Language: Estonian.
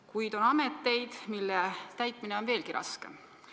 Kuid on ametikohti, mille täitmine on veelgi raskem.